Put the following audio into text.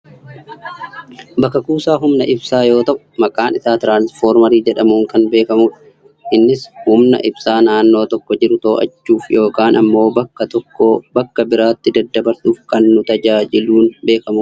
Bakka kuusaa humna ibsaa yoo ta'u maqaan isaa tiraansfoormerii jedhamuun kan beekamudha. Innis humna ibsaa naannoo tokko jiru to'achuuf yookaan ammoo bakka tokkoo bakka biraatti daddabarsuuf kan nu tajaajuun beekamudha.